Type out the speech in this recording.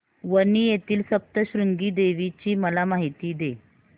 वणी येथील सप्तशृंगी देवी ची मला माहिती दे